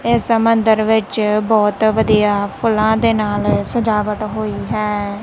ਇਸ ਮੰਦਰ ਵਿੱਚ ਬਹੁਤ ਵਧੀਆ ਫੁੱਲਾਂ ਦੇ ਨਾਲ ਸਜਾਵਟ ਹੋਈ ਹੈ।